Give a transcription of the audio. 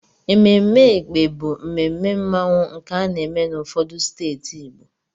Ememe Ékpè bụ mmemme mmanwụ nke ana-eme n'ụfọdụ steeti Igbo.